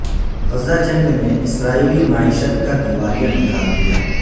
غزہ جنگ نے اسرائیلی معیشت کا دیوالیہ نکال دیا